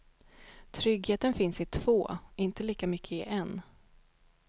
Tryggheten finns i två, inte lika mycket i en.